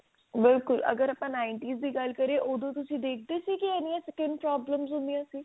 ਅਗਰ ਬਾਪਨ nineties ਦੀ ਗੱਲ ਕਰੀਏ ਓਦੋਂ ਤੁਸੀਂ ਦੇਖਦੇ ਸੀ ਕੀ ਇੰਨੀਆ skin problems ਹੁੰਦੀਆ ਸੀ